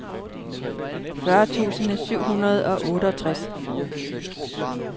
fyrre tusind syv hundrede og otteogtres